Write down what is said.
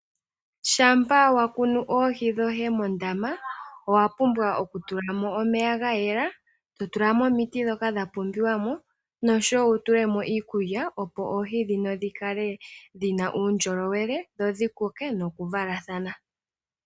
Shampa wa kunu oohi dhoye mondama owa pumbwa okutula mo omeya ga yela, to tula mo omiti ndhoka dha pumbiwa mo noshowo wu tule mo iikulya opo oohi ndhino dhi kale dhi na uundjolowele, dho dhi koke nokuvalathana.